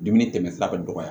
Dumuni tɛmɛ sira ka dɔgɔya